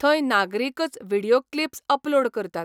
थंय नागरिकच video clips upload करतात.